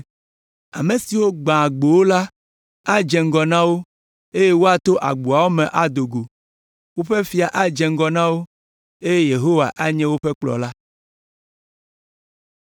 Ame si gbãa agbowo la adze ŋgɔ na wo eye woato agboawo me ado go. Woƒe fia adze ŋgɔ na wo eye Yehowa anye woƒe kplɔla.”